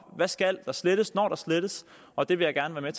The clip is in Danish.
der skal slettes når der slettes og det vil jeg gerne